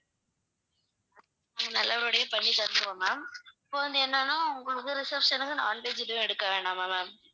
ஹம் நல்லபடியா பண்ணி தந்திடுவோம் ma'am இப்ப வந்து என்னனா உங்களுக்கு reception க்கு non veg எதுவும் எடுக்க வேணாமா ma'am